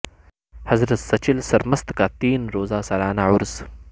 حضرت سچل سرمست کا تین روزہ سالانہ عرس